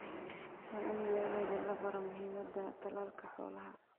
Waa in beeralayda la baro muhiimadda tallaalka xoolaha.